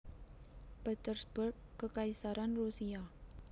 Petersburg Kekaisaran Rusia